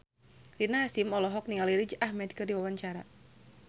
Rina Hasyim olohok ningali Riz Ahmed keur diwawancara